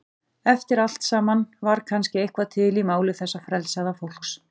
Eftir allt saman var kannski eitthvað til í máli þessa frelsaða fólks.